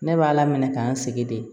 Ne b'a la minɛ k'an sigi de